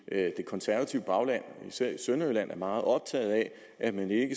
konservative bagland især i sønderjylland er meget optaget af at man ikke